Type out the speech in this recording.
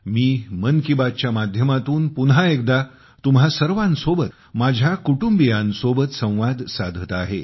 मी 'मन की बात' च्या माध्यमातून पुन्हा एकदा तुम्हा सर्वांसोबत माझ्या कुटुंबियांसोबत संवाद साधत आहे